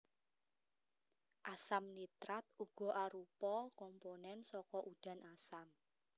Asam nitrat uga arupa komponen saka udan asam